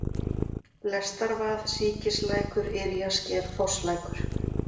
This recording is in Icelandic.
Lestarvað, Síkislækur, Yrjasker, Fosslækur